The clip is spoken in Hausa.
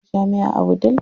Akwai jami'a a Wudil.